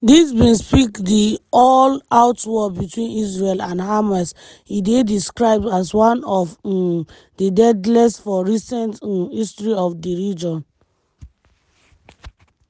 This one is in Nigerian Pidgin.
dis bin spark di all-out war between israel and hamas e dey described as one of um di deadliest for recent um history of di region.